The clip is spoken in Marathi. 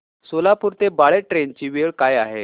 सोलापूर ते बाळे ट्रेन ची वेळ काय आहे